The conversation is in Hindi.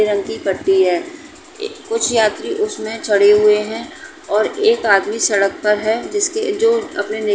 पीले रंग की पट्टी है। एक कुछ यात्री उसमे चढ़े हुए हैं और एक आदमी सड़क पर है। जिसके जो अपनी --